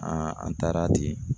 an taara ten